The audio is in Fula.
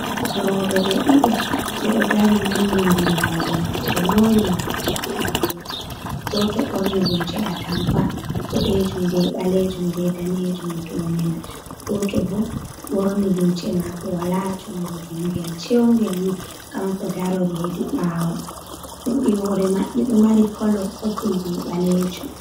Rooɓe ɓe ɗiɗo ɓe ɗo dari nangindiri balbe maɓɓe, ɓe moori morɗi maɓɓe iri gotel. Goto ɓorni lumce atampa boɗejum be ɓalejum be danejum doone man, goto bo ɓorni lumce maako waala jungo, jungel cheungel ni kanko darori hedi ɓaawo, morɗi hoore maɓɓe ɗo mari kolo popul be ɓalejum.